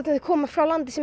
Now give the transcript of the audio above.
þau koma frá landi sem